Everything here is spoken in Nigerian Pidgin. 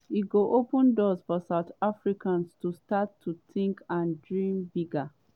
“e go open doors for south africans to start to tink and dream bigger.